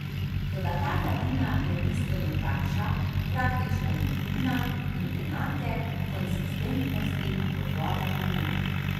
Toda ta gladina je bistveno tanjša, praktično je nevidna in enake konsistentnosti kot voda pod njo.